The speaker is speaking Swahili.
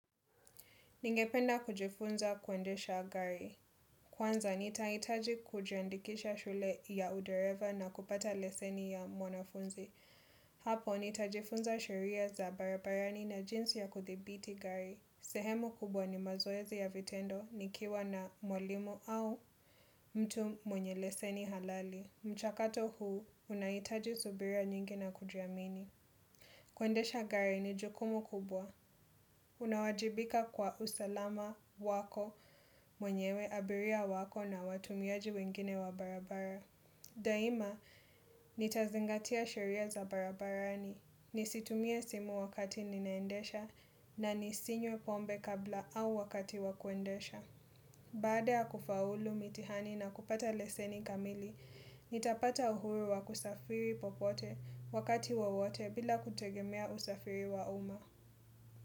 Ningependa kujifunza kuendesha gari. Kwanza nitahitaji kujiandikisha shule ya udereva na kupata leseni ya mwanafunzi. Hapo nitajifunza sheria za barabarani na jinsi ya kuthibiti gari. Sehemu kubwa ni mazoezi ya vitendo nikiwa na mwalimu au mtu mwenye leseni halali. Mchakato huu unahitaji subira nyingi na kujiamini. Kuendesha gari ni jukumu kubwa. Unawajibika kwa usalama wako mwenyewe abiria wako na watumiaji wengine wa barabara Daima, nitazingatia sheria za barabarani Nisitumie simu wakati ninaendesha na nisinywe pombe kabla au wakati wa kuendesha Baada ya kufaulu mitihani na kupata leseni kamili nitapata uhuru wa kusafiri popote wakati wowote bila kutegemea usafiri wa uma.